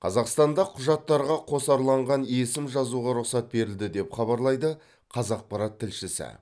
қазақстанда құжаттарға қосарланған есім жазуға рұқсат берілді деп хабарлайды қазақпарат тілшісі